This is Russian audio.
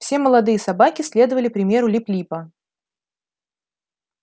все молодые собаки следовали примеру лип липа